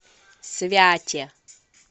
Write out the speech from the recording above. святе